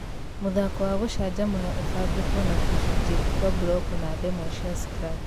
mũthako wa gũcanjamũra ũbangĩtwo na tũcunjĩ kwa mburoko na ndemwa cia Scratch!